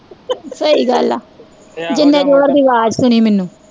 ਸਹੀ ਗੱਲ ਆ ਜਿੰਨੇ ਜ਼ੋਰ ਦੀ ਆਵਾਜ਼ ਸੁਣੀ ਮੈਨੂੰ